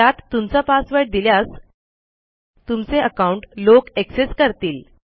त्यात तुमचा पासवर्ड दिसल्यास तुमचे अकाऊंट लोक एक्सेस करतील